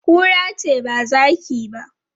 Kura ce ba zaki ba.